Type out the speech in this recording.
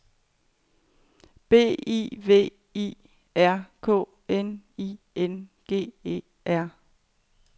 B I V I R K N I N G E R